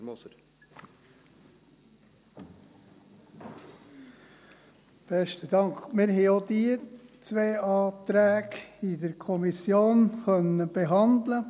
der SiK. Wir konnten auch diese zwei Anträge in der Kommission behandeln.